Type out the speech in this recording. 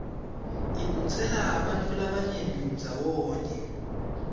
ibutsela bantfu labanyenti ndzawonye